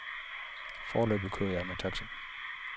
Foreløbig kører jeg med taxa.